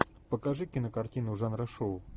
покажи кинокартину жанра шоу